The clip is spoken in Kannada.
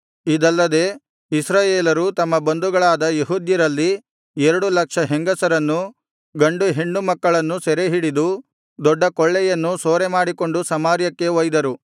ಇದಲ್ಲದೆ ಇಸ್ರಾಯೇಲರು ತಮ್ಮ ಬಂಧುಗಳಾದ ಯೆಹೂದ್ಯರಲ್ಲಿ ಎರಡು ಲಕ್ಷ ಹೆಂಗಸರನ್ನೂ ಗಂಡು ಹೆಣ್ಣು ಮಕ್ಕಳನ್ನೂ ಸೆರೆಹಿಡಿದು ದೊಡ್ಡ ಕೊಳ್ಳೆಯನ್ನೂ ಸೂರೆಮಾಡಿಕೊಂಡು ಸಮಾರ್ಯಕ್ಕೆ ಒಯ್ದರು